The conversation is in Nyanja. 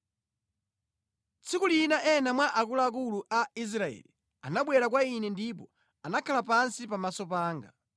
Tsiku lina ena mwa akuluakulu a Israeli anabwera kwa ine ndipo anakhala pansi pamaso panga.